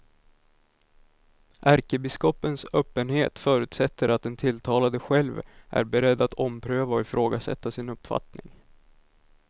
Ärkebiskopens öppenhet förutsätter att den tilltalade själv är beredd att ompröva och ifrågasätta sin uppfattning.